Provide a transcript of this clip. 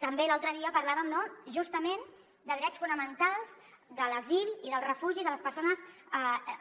també l’altre dia parlàvem no justament de drets fonamentals de l’asil i del refugi de les persones